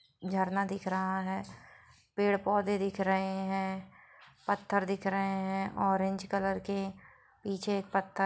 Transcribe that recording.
झरना दिख रहा है पेड़-पौधे दिख रहे है पत्थर दिख रहे है ऑरेंज कलर के पीछे एक पत्ता--